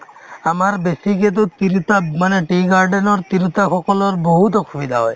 আমাৰ বেছিকেতো তিৰোতা মানে tea garden ৰ তিৰোতাসকলৰ বহুত অসুবিধা হয়